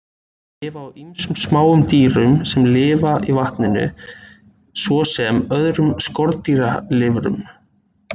Þær lifa á ýmsum smáum dýrum sem lifa í vatninu, svo sem öðrum skordýralirfum.